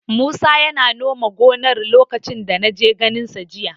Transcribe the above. Musa yana nome gonar lokacin da na je ganinsa jiya.